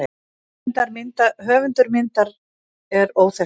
Höfundur myndar er óþekktur.